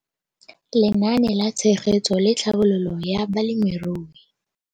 Lenaane la Tshegetso le Tlhabololo ya Balemirui.